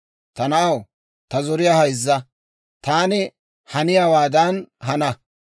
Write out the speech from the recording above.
Ta na'aw, ta zoriyaa hayzza; taani haniyaawaadan hana.